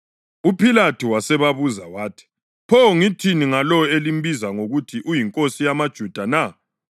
UPhilathu wasebabuza wathi, “Pho ngithini ngalo elimbiza ngokuthi uyinkosi yamaJuda na?”